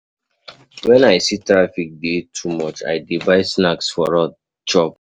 Wen I see sey traffic dey too much, I dey buy snacks for road chop.